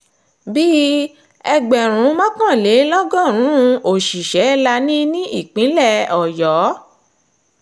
bíi ẹgbẹ̀rún mọ́kànlélọ́gọ́rùn-ún òṣìṣẹ́ la ní ní ìpínlẹ̀ ọ̀yọ́